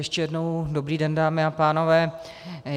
Ještě jednou dobrý den, dámy a pánové.